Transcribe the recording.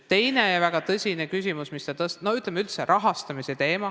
Teine ja väga tõsine küsimus on üldse rahastamise teema.